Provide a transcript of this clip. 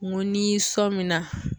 N ko ni sɔ min na